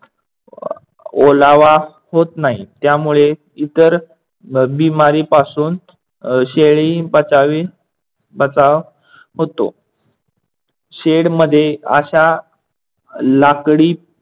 ओलावा होत नाही. त्यामुळे इतर बिमारीपासून अह शेळी बचावी बचाव होतो. शेडमध्ये अश्या लाकडी